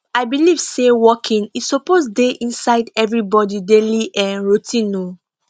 i believe say walking e suppose dey inside everybody daily um routine um